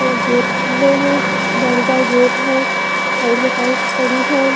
एक गेट खुलो है जाली जाली गेट है साइड में पाइप पड़ी है।